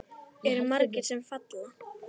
Eru margir sem falla?